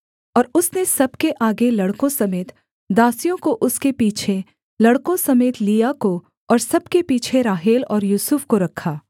और उसने सब के आगे लड़कों समेत दासियों को उसके पीछे लड़कों समेत लिआ को और सब के पीछे राहेल और यूसुफ को रखा